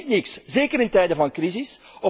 Dat is niet niks, zeker in tijden van crisis.